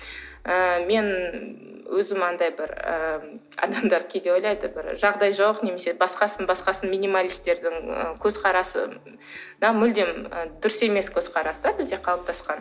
ы мен өзім анадай бір і адамдар кейде ойлайды бір жағдайы жоқ немесе басқасын басқасын минималистердің і көзқарасына мүлдем дұрыс емес көзқарас та бізде қалыптасқан